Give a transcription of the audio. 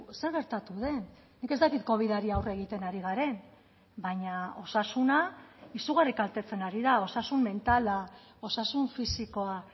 zer gertatu den nik ez dakit covidari aurre egiten ari garen baina osasuna izugarri kaltetzen ari da osasun mentala osasun fisikoa